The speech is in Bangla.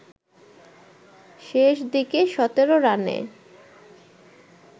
শেষ দিকে ১৭ রানে